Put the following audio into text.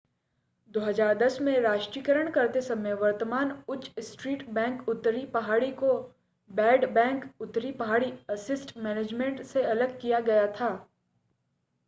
2010 में राष्ट्रीयकरण करते समय वर्तमान उच्च स्ट्रीट बैंक उत्तरी पहाड़ी को 'बैड बैंक' उत्तरी पहाड़ी असिस्ट मैनेजमेंट से अलग किया गया था।